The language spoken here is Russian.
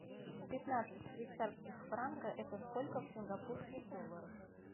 пятнадцать швейцарских франка это сколько в сингапурских долларах